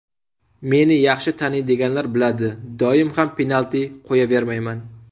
Meni yaxshi taniydiganlar biladi, doim ham penalti qo‘yavermayman.